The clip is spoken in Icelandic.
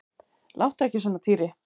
Láttu ekki svona Týri.